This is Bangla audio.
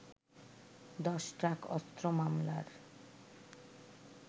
দশ ট্রাক অস্ত্র মামলার